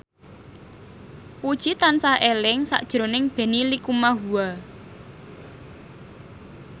Puji tansah eling sakjroning Benny Likumahua